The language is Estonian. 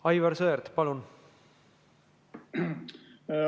Aivar Sõerd, palun!